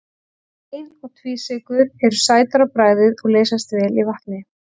Ein- og tvísykrur eru sætar á bragðið og leysast vel í vatni.